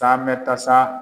Taa mɛn ta sa